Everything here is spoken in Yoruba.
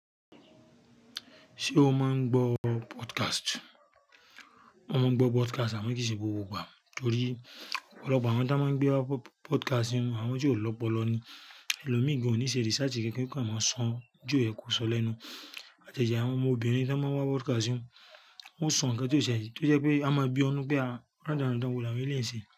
Ṣé o máa ń gbọ́ podcast? Mo máa ń gbọ́ podcast àmọ́ kì í ṣe gbogbo ìgbà torí ọ̀pọ̀lọpọ̀ àwọn tí wọ́n máa ń gbé wa podcast inú àwọn tí ò lọ́pọ̀lọpọ̀ ni. Ẹ̀lọ́mi gan-an ò ní ṣe research kankan kí wọ́n máa sọ n ju ẹ̀kú ọ̀sọ́ lọ inu. Àjaja àwọn ọmọbìnrin tí wọ́n máa ń wa podcast inú, wọ́n ó sọ nnkan tí ó ṣe é, tí ó jẹ́ pé a máa bi ọ́nú pé a ránda randa wò láwon eleyi n se.